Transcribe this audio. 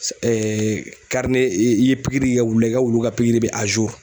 Ɛɛ karine e ni i ye pikiri k'i ka wulu la i ka wulu ka pikiri be a zuru